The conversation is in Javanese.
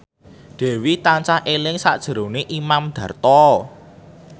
Dewi tansah eling sakjroning Imam Darto